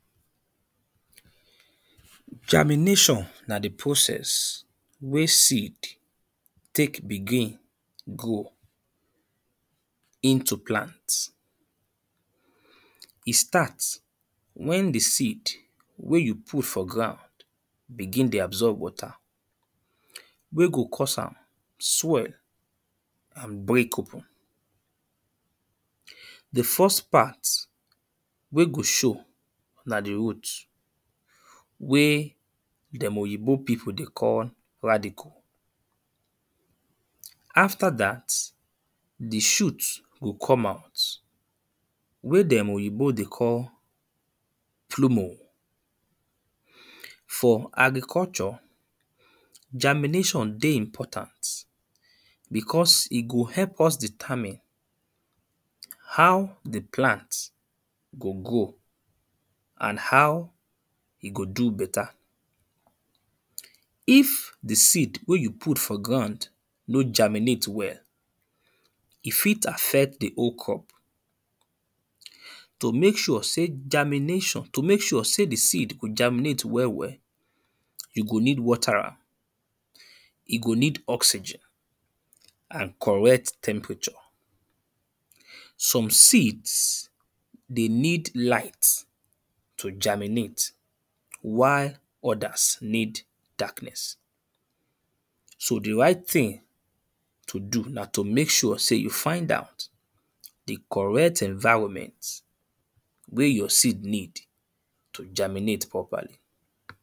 Germination, na di process wey seed take begin grow into plant, e start wen di seed wen you put for ground begin to dey absorb water, wen go cause am swell and break open, di first part wey go show na di root, wey dem oyibo people dey call radicle, after dat di shoot go come out wey dem oyibo dey call phlomo for agriculture, germination dey important because e go help us determine, how di plant go grow and how e go do better, if di seed wey you put for ground no germinate well, e fit affect di whole crop. To make sure sey germination, to make sure sey di seed go germinate well well, you go need water am e go need oxygen and correct temperature some seed dey need light to germinate while others need darkness. So di right thing to do na to make sure sey you find out di correct environment wey your seed need to germinate properly.